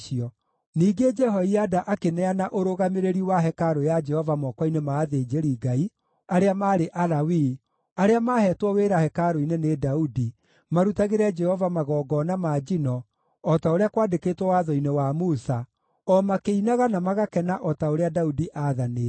Ningĩ Jehoiada akĩneana ũrũgamĩrĩri wa hekarũ ya Jehova moko-inĩ ma athĩnjĩri-Ngai, arĩa maarĩ Alawii, arĩa maaheetwo wĩra hekarũ-inĩ nĩ Daudi, marutagĩre Jehova magongona ma njino o ta ũrĩa kwandĩkĩtwo watho-inĩ wa Musa, o makĩinaga na magakena o ta ũrĩa Daudi aathanĩte.